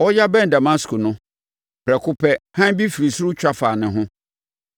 Ɔreyɛ abɛn Damasko no, prɛko pɛ, hann bi firi ɔsoro twa faa ne ho,